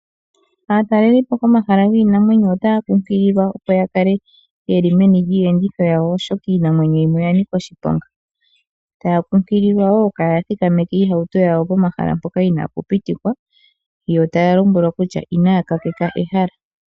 Aatalelipo komahala giinamwenyo otaya kunkililwa opo ya kale yeli meni lyiiyenditho yawo, oshoka iinamwenyo yimwe oya nika oshiponga. Yo otaya kunkililwa wo kaaya thikameke iihauto yawo pomahala mpoka inapu pitikwa. Taya lombwelwa wo kutya inaya gagaleka ehala.